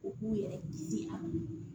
U k'u yɛrɛ ci an bolo